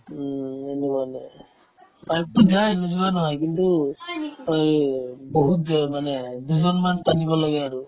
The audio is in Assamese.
pipe তো যায় নোযোৱা নহয় কিন্তু অই বহুত জা মানে দুজনমান টানিব লাগে আৰু